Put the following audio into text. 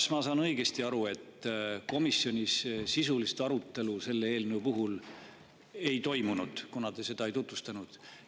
Kas ma saan õigesti aru, et komisjonis sisulist arutelu selle eelnõu puhul ei toimunud, kuna te seda ei tutvustanud?